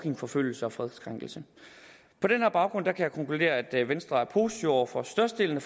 forfølgelse og fredskrænkelse på den baggrund kan jeg konkludere at venstre er positiv over for størstedelen